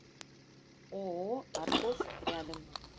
ооо аркос рядом